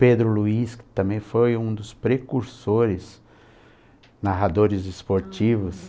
Pedro Luiz, que também foi um dos precursores narradores esportivos.